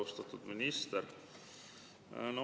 Austatud minister!